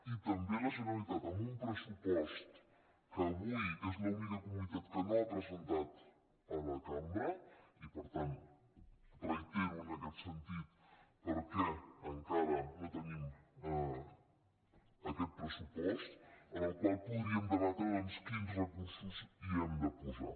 i també la generalitat amb un pressupost que avui és l’única comunitat que no ha presentat a la cambra i per tant reitero en aquest sentit per què encara no tenim aquest pressupost amb el qual podríem debatre doncs quins recursos hi hem de posar